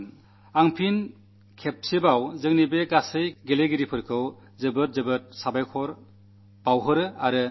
ഞാൻ ഒരിക്കൽ കൂടി നമ്മുടെ ഈ കളിക്കാർക്ക് അഭിനനന്ദനങ്ങൾ നേരുന്നു